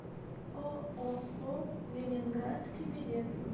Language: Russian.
ооо ленинградский билет